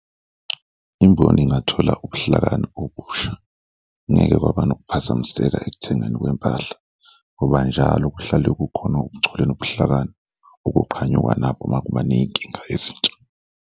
Imboni ingathola ubuhlakani obusha, ngeke kwaba nokuphazamiseka ekuthengeni kwempahla ngoba njalo kuhlale kukhona ubuchule nobuhlakani okuqhanyukwa nabo makuba ney'nkinga ezintsha.